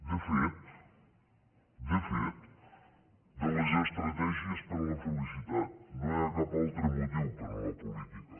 de fet de fet de les estratègies per a la felicitat no hi ha cap altre motiu per a la política